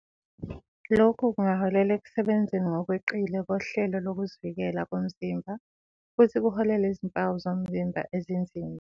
Lokhu kungaholela ekusebenzeni ngokweqile kohlelo lokuzivikela komzimba futhi kuholele ezimpawu zomzimba ezinzima.